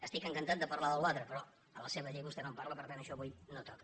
estic encantat de parlar d’allò al·tre però a la seva llei vostè no en parla per tant això avui no toca